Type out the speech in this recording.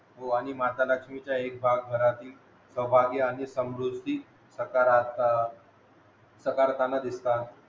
हो आणि माता लक्ष्मीचे एकभाग घरातील सवभागी आणि समृद्धी सकारात या साकारताना दिसतात